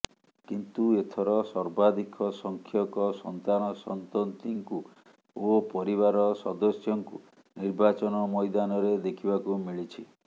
କିନ୍ତୁ ଏଥର ସର୍ବାଧିକ ସଂଖ୍ୟକ ସନ୍ତାନ ସନ୍ତତିଙ୍କୁ ଓ ପରିବାରର ସଦସ୍ୟଙ୍କୁ ନିର୍ବାଚନ ମଇଦାନରେ ଦେଖିବାକୁ ମିଳିଛି